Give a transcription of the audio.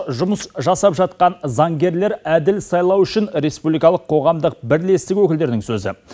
жұмыс жасап жатқан заңгерлер әділ сайлау үшін республикалық қоғамдық бірлестігі өкілдерінің сөзі